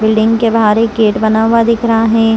Building के बाहर एक गेट बना हुआ दिख रहा है।